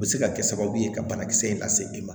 U bɛ se ka kɛ sababu ye ka banakisɛ in lase e ma